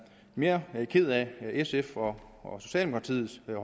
mere ked af sfs og og socialdemokratiets